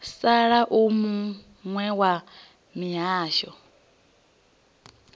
sala u muwe wa mihasho